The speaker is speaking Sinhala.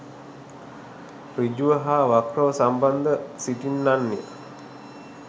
සෘජුව හා වක්‍රව සම්බන්ධව සිටින්නන් ය.